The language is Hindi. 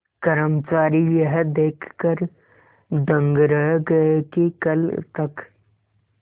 कर्मचारी यह देखकर दंग रह गए कि कल तक